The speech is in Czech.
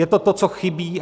Je to to, co chybí.